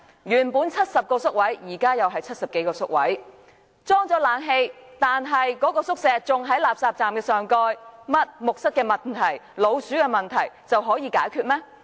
原本70個宿位，現在仍是70多個宿位，即使已安裝冷氣，但宿舍仍在垃圾站的上蓋，木蚤和老鼠的問題有解決嗎？